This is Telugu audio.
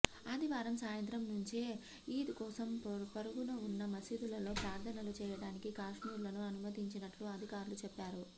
ఆదివారం సాయంత్రం నుంచే ఈద్ కోసం పొరుగున ఉన్న మసీదులలో ప్రార్థనలు చేయడానికి కాశ్మీరులను అనుమతించినట్లు అధికారులు చెప్పారు